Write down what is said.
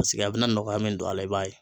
Paseke a bɛna nɔgɔya min don a la i b'a ye.